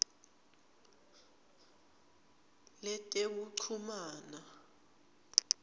letekuchumana